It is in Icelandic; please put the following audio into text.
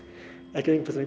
ekki að einbeita